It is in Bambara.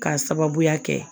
K'a sababuya kɛ